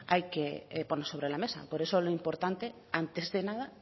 hay que poner sobre la mesa por eso lo importante antes de nada